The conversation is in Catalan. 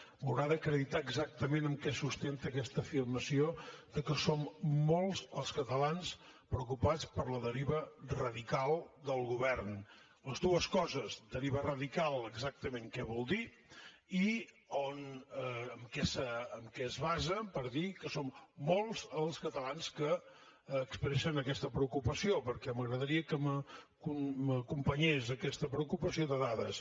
m’haurà d’acreditar exactament amb què sustenta aquesta afirmació que som molts els catalans preocupats per la deriva radical del govern les dues coses deriva radical exactament què vol dir i en què es basa per dir que són molts els catalans que expressen aquesta preocupació perquè m’agradaria que m’acompanyés aquesta preocupació de dades